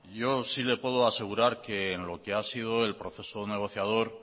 yo sí le puedo asegurar que en lo que ha sido el proceso negociador